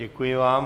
Děkuji vám.